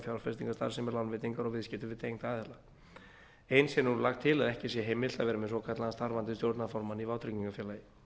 fjárfestingarstarfsemi lánveitingar og viðskipti við tengda aðila eins er nú lagt til að ekki sé heimilt að vera með svokallaðan starfandi stjórnarformann í vátryggingafélagi